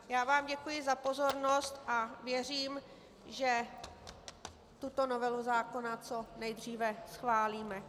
Já vám děkuji za pozornost a věřím, že tuto novelu zákona co nejdříve schválíme.